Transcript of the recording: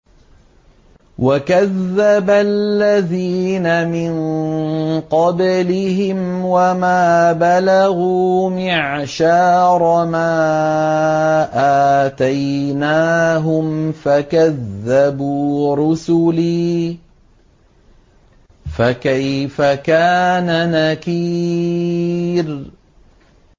وَكَذَّبَ الَّذِينَ مِن قَبْلِهِمْ وَمَا بَلَغُوا مِعْشَارَ مَا آتَيْنَاهُمْ فَكَذَّبُوا رُسُلِي ۖ فَكَيْفَ كَانَ نَكِيرِ